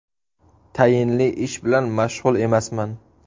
Tayinli ish bilan mashg‘ul emasman.